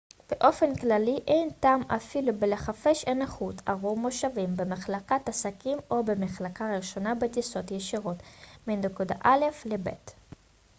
באופן כללי אין טעם אפילו בלחפש הנחות עבור מושבים במחלקת עסקים או במחלקה ראשונה בטיסות ישירות מנקודה א' לב'